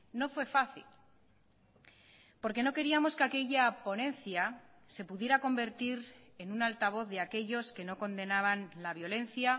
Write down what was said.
no fue fácil porque no queríamos que aquella ponencia se pudiera convertir en un altavoz de aquellos que no condenaban la violencia